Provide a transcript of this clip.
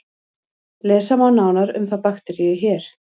Lesa má nánar um þá bakteríu hér.